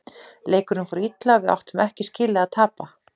Leikurinn fór illa og við áttum ekki skilið að tapa.